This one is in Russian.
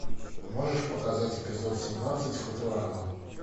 можешь показать эпизод семнадцать футурама